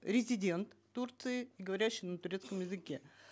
резидент турции говорящий на турецком языке